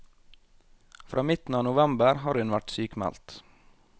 Fra midten av november har hun vært sykmeldt.